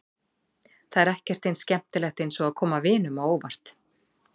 Það er ekkert eins skemmtilegt eins og að koma vinunum á óvart.